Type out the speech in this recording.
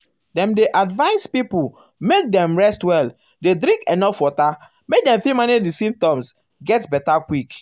dem dey advise um pipo make um dem rest well dey drink enuf water make dem fit manage di symptoms get beta quick.